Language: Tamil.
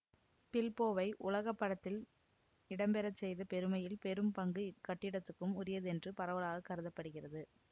பில்போவை உலகப்படத்தில் இடம்பெற செய்த பெருமையில் பெரும் பங்கு இக்கட்டிடத்துக்கும் உரியதென்று பரவலாக கருத படுகிறது